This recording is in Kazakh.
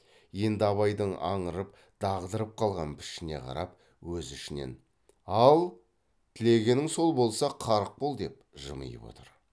енді абайдың аңырып дағдырып қалған пішіне қарап өз ішінен ал тілегенің сол болса қарық бол деп жымиып отыр